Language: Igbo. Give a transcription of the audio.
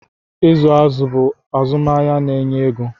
ịzụ azụ̀ bụ azụmahịa na-enye ego